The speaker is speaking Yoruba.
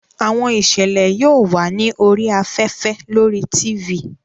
Àwọn ìṣẹ̀lẹ̀ yóò wà ní orí afẹ́fẹ́ lórí Tifì